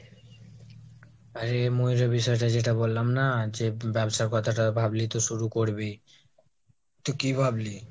আরে ময়ূরের বিষয়টা যেটা বললাম না, যে ব্যবসার কথাটা ভাবলি তো শুরু করবি? তুই কি ভাবলি?